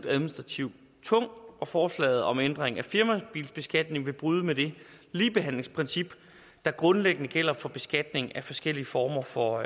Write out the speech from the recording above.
administrativt og forslaget om ændring af firmabilbeskatningen vil bryde med det ligebehandlingsprincip der grundlæggende gælder for beskatning af forskellige former for